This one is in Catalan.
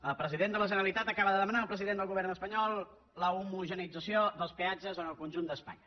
el president de la generalitat acaba de demanar al president del govern espanyol l’homogeneïtzació dels peatges en el conjunt d’espanya